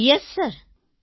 yes sir